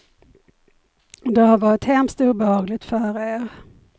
Det har varit hemskt obehagligt för er.